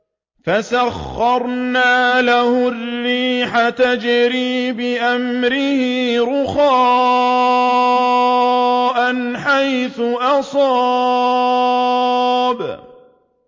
فَسَخَّرْنَا لَهُ الرِّيحَ تَجْرِي بِأَمْرِهِ رُخَاءً حَيْثُ أَصَابَ